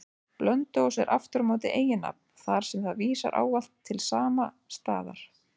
Blönduós er aftur á móti eiginnafn, þar sem það vísar ávallt til sama staðar.